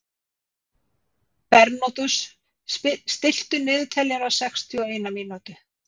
Bernódus, stilltu niðurteljara á sextíu og eina mínútur.